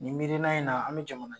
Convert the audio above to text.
Nin miirina in na an be jamana